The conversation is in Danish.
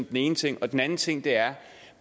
den ene ting den anden ting er